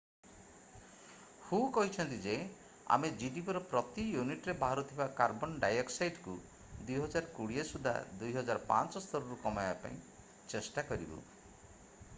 ହୁ କହିଛନ୍ତି ଯେ ଆମେ gdpର ପ୍ରତି ୟୁନିଟରେ ବାହାରୁଥିବା କାର୍ବନ ଡାଇଅକ୍ସାଇଡକୁ 2020 ସୁଦ୍ଧା 2005 ସ୍ତରରୁ କମାଇବାକୁ ଚେଷ୍ଟା କରିବୁ ।